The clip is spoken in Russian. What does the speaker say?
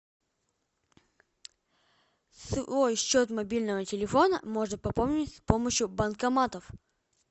свой счет мобильного телефона можно пополнить с помощью банкоматов